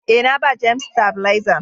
Eh, na ba " James " stafilezan.